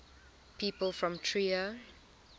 people from trier